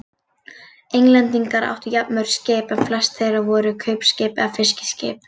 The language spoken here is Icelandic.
Englendingar áttu jafnmörg skip en flest þeirra voru kaupskip eða fiskiskip.